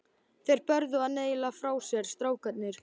Þeir börðu hann eiginlega frá sér, strákarnir.